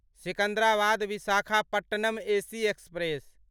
Secunderabad Visakhapatnam AC express